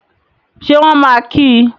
Ṣé wọ́n máa kí í?